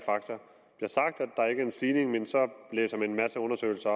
en stigning men så blæser man en masse undersøgelser